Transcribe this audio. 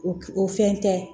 O o fɛn tɛ